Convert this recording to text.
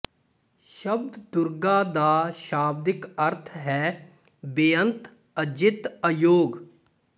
ਸ਼ਬਦ ਦੁਰਗਾ ਦਾ ਸ਼ਾਬਦਿਕ ਅਰਥ ਹੈ ਬੇਅੰਤ ਅਜਿੱਤ ਅਯੋਗ